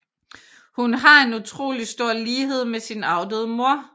Hun har en utrolig stor lighed med sin afdøde mor